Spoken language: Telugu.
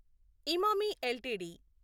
ఇమామి ఎల్టీడీ